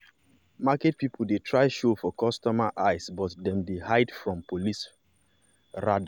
market people dey try show for customer eyes but dem dey hide from police rada.